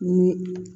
Ni